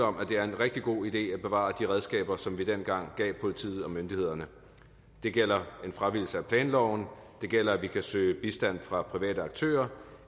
om at det er en rigtig god idé at bevare de redskaber som vi dengang gav politiet og myndighederne det gælder en fravigelse af planloven og det gælder at vi kan søge bistand fra private aktører